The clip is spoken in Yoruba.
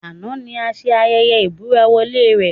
Àná ni a ṣe ayẹyẹ ìbúra-wọlé rẹ̀